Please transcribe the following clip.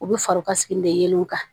U bɛ fari ka sigi de yeelenw kan